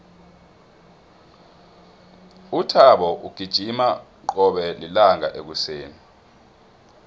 uthabo ugijima qobe lilanga ekuseni